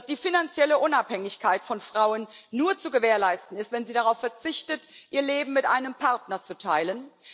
dass die finanzielle Unabhängigkeit von Frauen nur zu gewährleisten ist, wenn sie darauf verzichten, ihr Leben mit einem Partner zu teilen